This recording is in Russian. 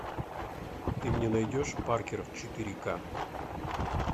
ты мне найдешь паркеров четыре ка